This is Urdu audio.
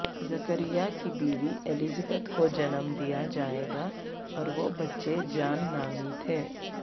زکریا کی بیوی الزبتھ کو جنم دیا جائے گا اور وہ بچے جان نامی تھے